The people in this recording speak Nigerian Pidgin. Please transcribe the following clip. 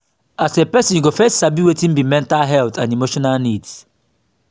as a person you go first sabi wetin be mental health and emotional needs